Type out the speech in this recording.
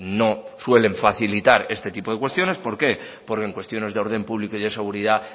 no suelen facilitar este tipo de cuestiones por qué porque en cuestiones de orden público y seguridad